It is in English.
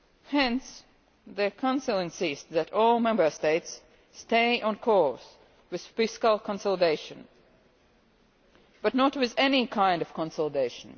Hence, the Council insists that all Member States stay on course with fiscal consolidation but not with any kind of consolidation.